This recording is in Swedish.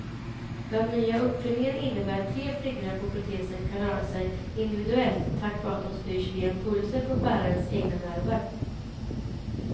Den nya uppfinningen innebär att tre fingrar på protesen kan röra sig individuellt tack vare att de styrs via impulser från bärarens egna nerver.